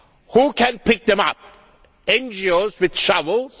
Who can pick them up? NGOs with shovels?